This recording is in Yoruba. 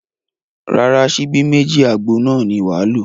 Rárá, ṣíbí méjì àgbo náà ni wàá lò